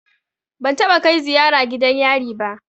Ban taɓa kai ziyara gidan yari ba.